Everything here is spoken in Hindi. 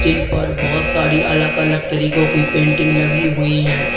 जिनपर बहुत सारी अलग अलग तरीकों की पेंटिंग लगी हुई हैं।